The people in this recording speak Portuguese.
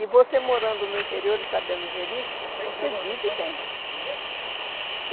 E você morando no interior e sabendo gerir, você vive bem.